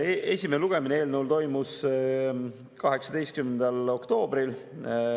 Eelnõu esimene lugemine toimus 18. oktoobril.